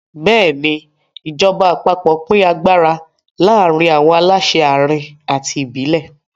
Bẹ́ẹ̀ni, ìjọba àpapọ̀ pín agbára láàárín àwọn aláṣẹ àárín àti ìbílẹ̀.